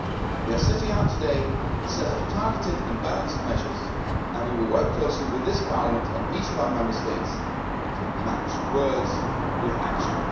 We are setting out today a set of targeted and balanced measures and we will work closely with this Parliament and each of our Member States to match words with action.